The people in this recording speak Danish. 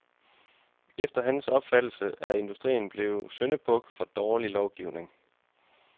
Efter hans opfattelse er industrien blevet syndebuk for dårlig lovgivning.